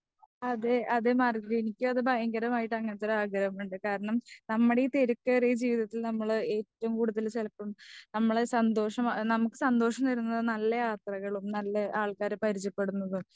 അതേ അതേ മാർഗരറ്റ് എനിക്കും അത് ഭയങ്കരമായിട്ട് അങ്ങനത്തെ ഒരാഗ്രഹമുണ്ട്. കാരണം നമ്മുടെ ഈ തിരക്കേറിയ ജീവിതത്തിൽ നമ്മള് ഏറ്റവും കൂടുതൽ ചിലപ്പം നമ്മളെ സന്തോഷമുക്ക് സന്തോഷം തരുന്നത്നല്ല യാത്രകളും നല്ല ആൾക്കാരെ പരിചയ പെടുന്നതും.